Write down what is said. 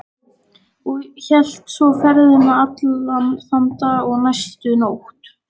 Og hélt svo ferðinni allan þann dag og næstu nótt.